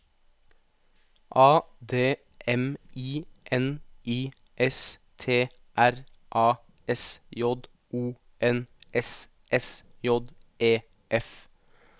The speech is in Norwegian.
A D M I N I S T R A S J O N S S J E F